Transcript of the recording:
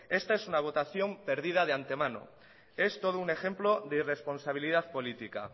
esta es una votación perdida de antemano es todo un ejemplo de irresponsabilidad política